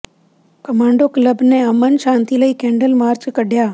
commando club ਨੇ ਅਮਨ ਸ਼ਾਂਤੀ ਲਈ ਕੈਂਡਲ ਮਾਰਚ ਕੱਿਢਆ